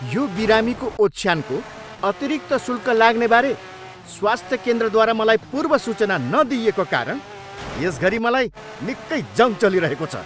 यो बिरामीको ओछ्यानको अतिरिक्त शूल्क लाग्नेबारे स्वास्थ्य केन्द्रद्वारा मलाई पूर्वसूचना नदिइएको कारण यस घरी मलाई निक्कै जङ् चलिरहेको छ।